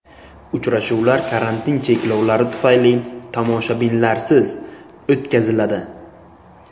Uchrashuvlar karantin cheklovlari tufayli tomoshabinlarsiz o‘tkaziladi.